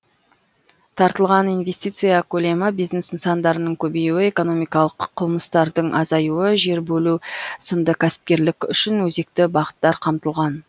тартылған инвестиция көлемі бизнес нысандарының көбеюі экономикалық қылмыстардың азаюы жер бөлу сынды кәсіпкерлік үшін өзекті бағыттар қамтылған